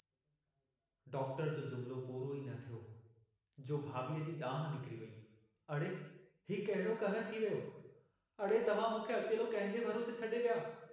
Doctor जो जुमिलो पूरो ई न थियो हो जो भाभीअ जी दांहं निकिरी वेई, अड़े हीउ कहिड़ो कहरु थी वियो... अड़े तव्हां मूंखे अकेलो कंहिंजे भरोसे छॾे विया।